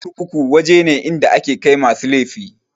Kurkuku waje ne inda ake kai masu laifi.